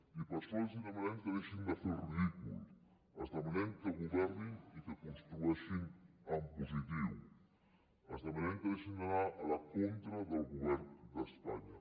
i per això els demanem que deixin de fer el ridícul els demanem que governin i que construeixin en positiu els demanem que deixin d’anar a la contra del govern d’espanya